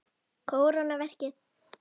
Kóróna verkið.